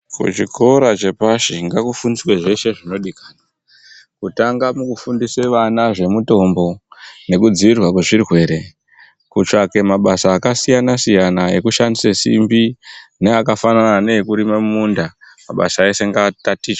Kuchikora chepashi ngakufundiswe zveshe zvinodikanwa, kutanga mukufundise vana zvemitombo, nekudziirirwa kwezvirwere, kutsvake mabasa akasiyana-siyana, ekushandise simbi, neakafanana neekurime mumunda. Mabasa ese ngaatatichwe.